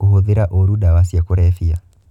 Kũhũthĩra ũru ndawa cia kulebia.